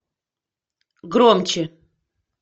громче